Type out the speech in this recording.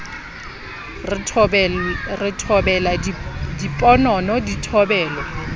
re thobela diponono di thobelwa